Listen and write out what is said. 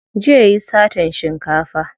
Jiya yayi satan shinkafa.